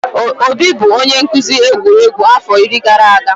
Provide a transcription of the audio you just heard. Obi bụ onye nkuzi egwuregwu afọ iri gara aga.